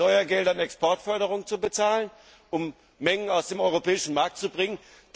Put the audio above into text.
Wieder mit Steuergeldern Exportförderung bezahlen, um Mengen aus dem europäischen Markt zu